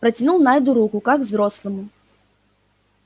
протянул найду руку как взрослому